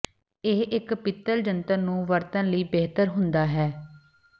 ਇਹ ਇੱਕ ਪਿੱਤਲ ਜੰਤਰ ਨੂੰ ਵਰਤਣ ਲਈ ਬਿਹਤਰ ਹੁੰਦਾ ਹੈ